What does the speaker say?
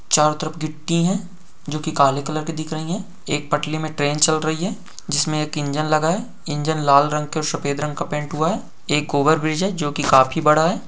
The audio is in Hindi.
चारों तरफ गिट्टी है जोकि काले कलर की दिख रही है एक पटरी मे ट्रेन चल रही है जिसमे एक इंजन लगा है इंजन लाल रंग और सफेद रंग का पैंट हुआ है एक ओवरब्रिज है जो की काफी बड़ा है।